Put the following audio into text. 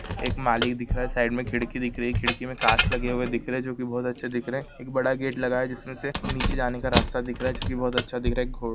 एक मालिक दिख रहा है साइड मे खिडकी दिख रही है खिड़की मे काँच लगे हुए दिख रहे है जो की बहुत अच्छे दिख रहे है एक बड़ा गेट लगा है जिसमे से नीचे जाने का रास्ता दिख रहा है जो की बहुत अच्छा दिख रहा है। घो--